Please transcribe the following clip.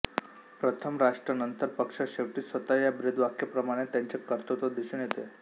प्रथम राष्ट्र नंतर पक्ष शेवटी स्वतः या ब्रीदवाक्याप्रमाणे त्यांचे कर्तृत्व दिसून येते